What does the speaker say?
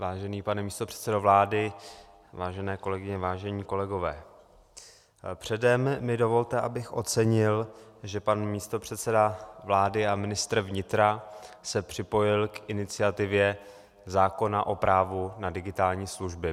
Vážený pane místopředsedo vlády, vážené kolegyně, vážení kolegové, předem mi dovolte, abych ocenil, že pan místopředseda vlády a ministr vnitra se připojil k iniciativě zákona o právu na digitální služby.